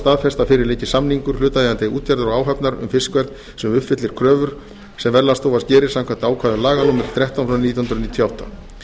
að fyrir liggi samningur hlutaðeigandi útgerðar og áhafnar um fiskverð sem uppfyllir kröfur sem verðlagsstofa gerir samkvæmt ákvæðum laga númer þrettán nítján hundruð níutíu og átta